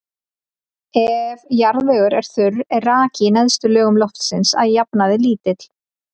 Ef jarðvegur er þurr er raki í neðstu lögum loftsins að jafnaði lítill.